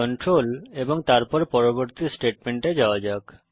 control এবং তারপর পরবর্তী স্টেটমেন্টে যাওয়া যাক